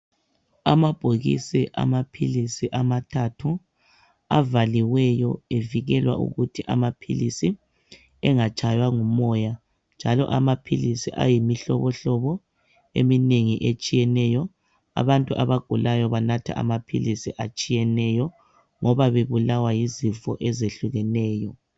Amabhokisi amaphilisi amathathu avaliweyo evikelwa ukuthi amaphilisi engatshaywa ngumoya njalo amaphilisi ayimihlobohlobo eminengi etshiyeneyo. Abantu abagulayo banatha amaphilisi atshiyeneyo ngoba bebulawa yizifo ezehlukeneyo.